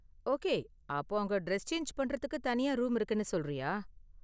Okay, அப்போ அங்க dress change பண்றதுக்கு தனியா ரூம் இருக்குனு சொல்றியா?